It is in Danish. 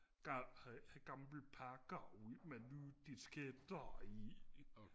gamle pakker ud med nye disketter i